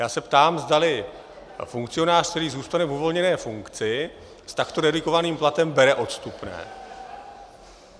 Já se ptám, zdali funkcionář, který zůstane v uvolněné funkci s takto redukovaným platem, bere odstupné.